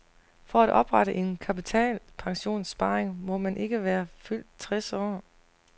For at oprette en kapitalpensionsopsparing må man ikke være fyldt tres år.